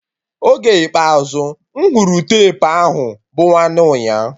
Oge ikpeazụ mụ hụrụ tepu ahụ bụ nwanne nyaa